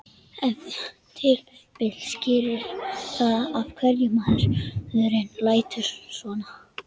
Ef til vill skýrir það af hverju maðurinn lætur svona.